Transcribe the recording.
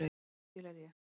Til er ég.